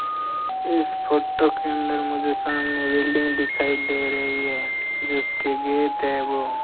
इस फोटो के अंदर मुझे सामने बिल्डिंग दिखाई दे रही है जिसके गेट है वो --